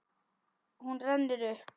Hún rennur upp.